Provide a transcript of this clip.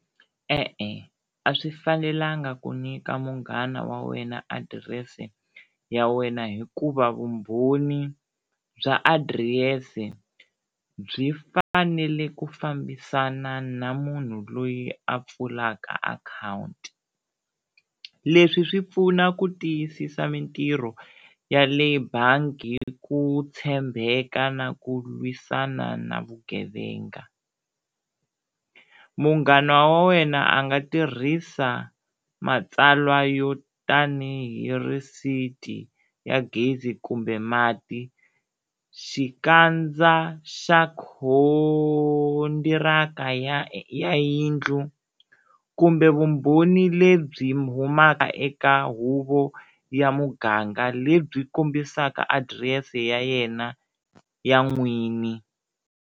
E-e, a swi fanelanga ku nyika munghana wa wena adirese ya wena hikuva vumbhoni bya adirese byi fanele ku fambisana na munhu loyi a pfulaka akhawunti, leswi swi pfuna ku tiyisisa mintirho ya le bangi hi ku tshembeka na ku lwisana na vugevenga. Munghana wa wena a nga tirhisa matsalwa yo tanihi receipt-i ya gezi kumbe mati, xikandza xa khondiraka ya ya yindlu kumbe vumbhoni lebyi humaka eka huvo ya muganga lebyi kombisaka adirese ya yena ya n'wini.